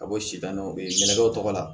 Ka bɔ sida dɔw bɛ yen kɛnɛ dɔw tɔgɔ la